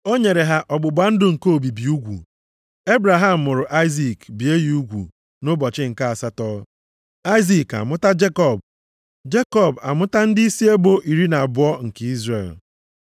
O nyere ya ọgbụgba ndụ nke obibi ugwu. Ebraham mụrụ Aịzik bie ya ugwu nʼụbọchị nke asatọ. Aịzik amụta Jekọb, Jekọb amụta ndịisi ebo iri na abụọ nke Izrel.